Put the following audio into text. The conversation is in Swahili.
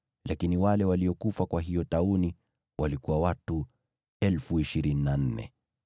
Lakini wale waliokufa kwa hiyo tauni walikuwa watu 24,000.